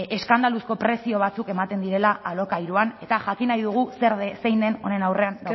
eskandaluzko prezio batzuk ematen direla alokairuan eta jakin nahi dugu zein den honen aurrean